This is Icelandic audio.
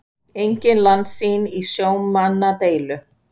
Engin landsýn í sjómannadeilu